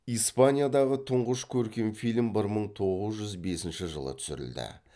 испаниядағы тұңғыш көркем фильм бір мың тоғыз жүз бесінші жылы түсірілді